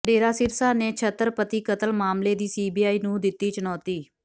ਡੇਰਾ ਸਿਰਸਾ ਨੇ ਛਤਰਪਤੀ ਕਤਲ ਮਾਮਲੇ ਚ ਸੀਬੀਆਈ ਨੂੰ ਦਿੱਤੀ ਚੁਣੌਤੀ